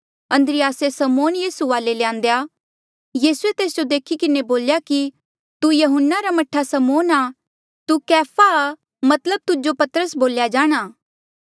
अन्द्रियासे समौन यीसू वाले ल्यांदेया यीसूए तेस जो देखी किन्हें बोल्या कि तू यहून्ना रा मह्ठा समौन आ तू कैफा रा मतलब पतरस बोल्या जाणा